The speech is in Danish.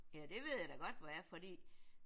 Ja det ved jeg da godt hvor er fordi